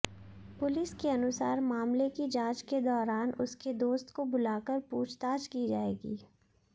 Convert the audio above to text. police के अनुसार मामले की जांच के दौरान उसके दोस्त को बुलाकर पूछताछ की जाएगी